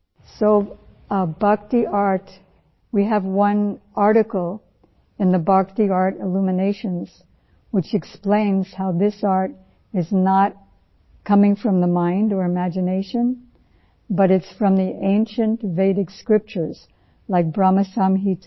So, bhakti art we have one article in the bhakti art illuminations which explains how this art is not coming from the mind or imagination but it is from the ancient Vedic scriptures like Bhram Sanhita